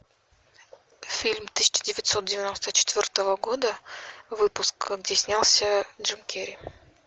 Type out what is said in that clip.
фильм тысяча девятьсот девяносто четвертого года выпуска где снялся джим керри